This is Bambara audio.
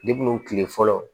kile fɔlɔ